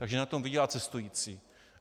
Takže na tom vydělá cestující.